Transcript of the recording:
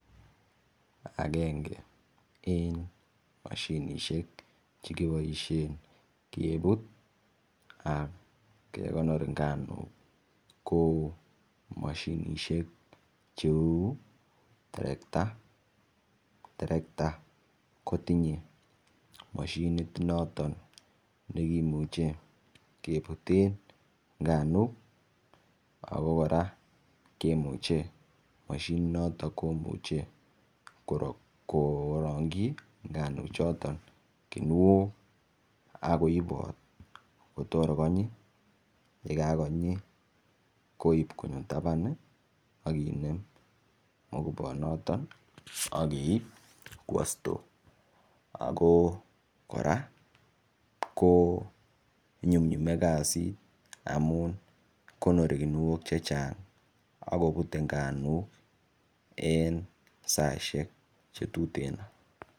Agenge eng mashinishek chekibaisien kebut ak kekonor nganuk ko mashinishek cheu terekta, terekta ko tinyei mashinit noton nekimuchen kebuten nganuk ako kora kemuche mashinit noton komuchei korongchi nganuk choto kinuok ak koibot kotor konyi yekakonyi koip konyo taban akinem mapuko noton akeip kwo store ako kora ko nyumnyume kasit amun konori kuniok chechang akoputei nganuk en saishek chetuten